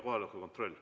Kohaloleku kontroll.